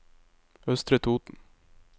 Østre Toten